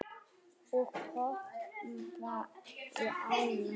Og pompa í ána?